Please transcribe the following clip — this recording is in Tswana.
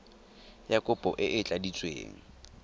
ya kopo e e tladitsweng